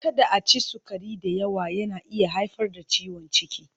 Kada a ci sukari da yawa, yana iya haifar da ciwon ciki.